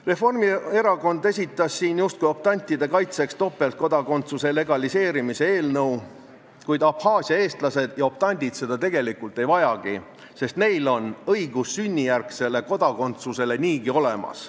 Reformierakond esitas siin justkui optantide kaitseks topeltkodakondsuse legaliseerimise eelnõu, kuid Abhaasia eestlased ja optandid seda tegelikult ei vajagi, sest neil on õigus sünnijärgsele kodakondsusele niigi olemas.